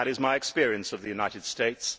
That is my experience of the United States.